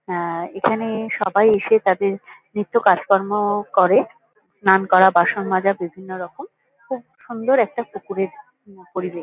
হ্যাঁ এখানে সবাই এসে তাদের নিত্য কাজকর্ম-অ করে স্নান করা বাসন মজা বিভিন্নরকম। খুব সুন্দর একটা পুকুরের উম পরিবেশ।